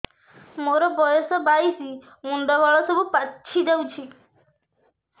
ମୋର ବୟସ ବାଇଶି ମୁଣ୍ଡ ବାଳ ସବୁ ପାଛି ଯାଉଛି